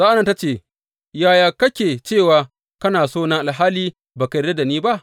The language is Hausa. Sa’an nan ta ce masa, Yaya kake cewa kana sona alhali ba ka yarda da ni ba?